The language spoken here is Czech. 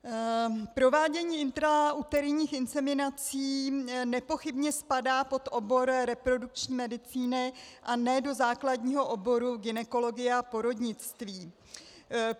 Provádění intrauterinních inseminací nepochybně spadá pod obor reprodukční medicíny a ne do základního oboru gynekologie a porodnictví.